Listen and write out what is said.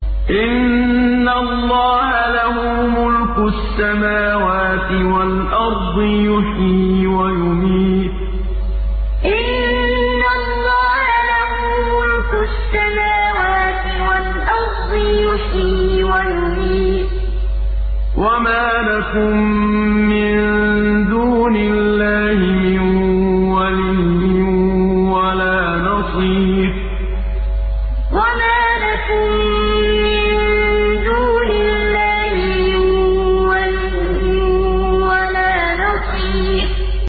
إِنَّ اللَّهَ لَهُ مُلْكُ السَّمَاوَاتِ وَالْأَرْضِ ۖ يُحْيِي وَيُمِيتُ ۚ وَمَا لَكُم مِّن دُونِ اللَّهِ مِن وَلِيٍّ وَلَا نَصِيرٍ إِنَّ اللَّهَ لَهُ مُلْكُ السَّمَاوَاتِ وَالْأَرْضِ ۖ يُحْيِي وَيُمِيتُ ۚ وَمَا لَكُم مِّن دُونِ اللَّهِ مِن وَلِيٍّ وَلَا نَصِيرٍ